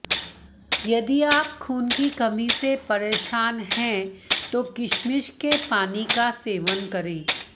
यदि आप खून की कमी से परेशान हैं तो किशमिश के पानी का सेवन करें